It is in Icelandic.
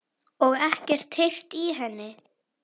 Og ekkert heyrt í henni?